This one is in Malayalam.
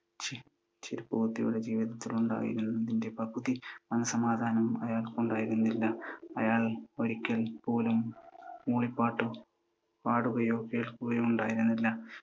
ചെരുപ്പുകുത്തിയുടെ ജീവിതത്തിലുണ്ടായിരുന്നതിൻ്റെ പകുതി മനസ്സമാധാനം അയാൾക്കുണ്ടായിരുന്നില്ല. അയാൾ ഒരിക്കൽ പോലും മൂളി പാട്ടു പാടുകയോ കേൾക്കുകയോ ഉണ്ടായിരുന്നില്ല.